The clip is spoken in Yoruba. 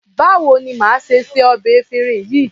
Báwo ni màá ṣe se ọbẹ̀ efinrin yìí?